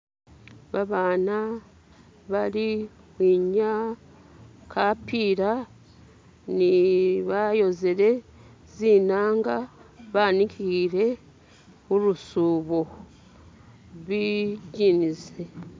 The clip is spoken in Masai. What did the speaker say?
babaana bali khebenyaa khapila ni bayozile zinanga banikhile khulusubo zijini